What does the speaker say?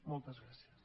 moltes gràcies